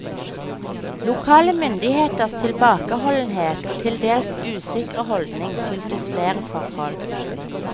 Lokale myndigheters tilbakeholdenhet og til dels usikre holdning skyldtes flere forhold.